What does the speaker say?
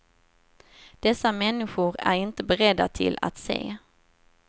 Dessa människor är inte beredda till att se.